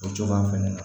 O cogoya fɛnɛ na